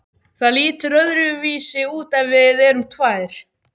Það lítur öðruvísi út ef við erum tvær.